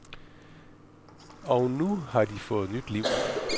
Og nu har de fået nyt liv.